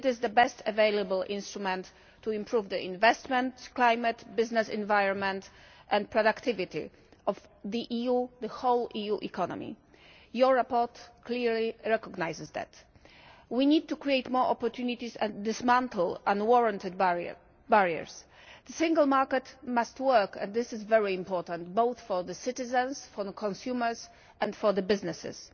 It is the best available instrument to improve the investment climate, business environment and productivity of the EU, the whole EU economy. The report clearly recognises that. We need to create more opportunities and dismantle unwarranted barriers. The single market must work and this is very important, both for the citizens, for the consumers, and for businesses.